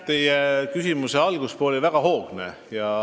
Teie küsimuse algupool oli väga hoogne.